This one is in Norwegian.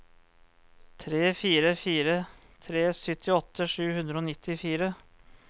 tre fire fire tre syttiåtte sju hundre og nittifire